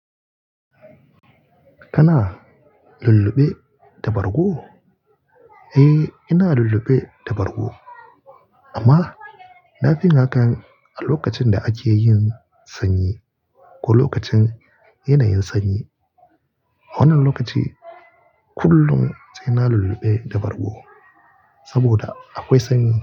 Kana lulluɓe da bargo? Eh eh, ina lulluɓe da bargo. Amma na fi yin hakan a lokacin da ake yin sanyi ko lokacin yanayin sanyi. A wannan lokaci kullum sai na lullube da bargo saboda akwai sanyi.